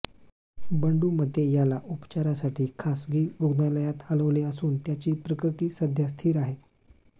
बंडू मते याला उपचारासाठी खासगी रुग्णालयात हलवले असून त्याची प्रकृती सध्या स्थिर आहे